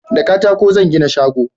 da katako zan gina shago